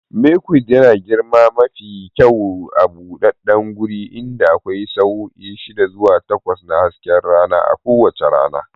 Milkweed yana girma mafi kyau a buɗaɗɗen guri inda akwai sa'o'i shida zuwa takwas na hasken rana a kowace rana.